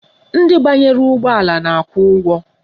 Ndị banyere ụgbọala na-akwụ ụgwọ